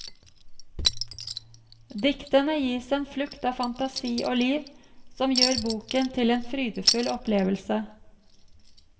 Diktene gis en flukt av fantasi og liv som gjør boken til en frydefull opplevelse.